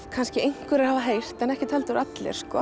kannski einhverjir hafa heyrt en ekkert heldur allir